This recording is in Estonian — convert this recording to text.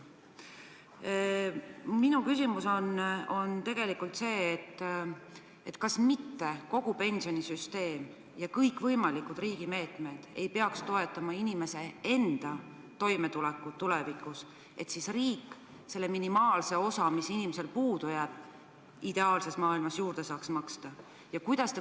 Minu küsimus on järgmine: kas mitte kogu pensionisüsteem ja kõikvõimalikud riigi meetmed ei peaks toetama inimese toimetulekut tulevikus, et siis riik selle minimaalse osa, mis inimesel puudu jääb, ideaalses maailmas juurde saaks maksta?